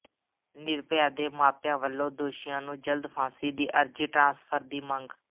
ਨਿਰਭਯਾ ਦੇ ਮਾਪਿਆਂ ਵਲੋਂ ਦੋਸ਼ੀਆਂ ਨੂੰ ਜਲਦ ਫਾਂਸੀ ਦੀ ਅਰਜ਼ੀ ਟਰਾਂਸਫਰ ਦੀ ਮੰਗ